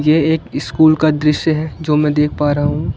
ये एक स्कूल का दृश्य है जो मैं देख पा रहा हूं।